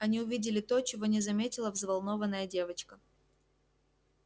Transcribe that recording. они увидели то чего не заметила взволнованная девочка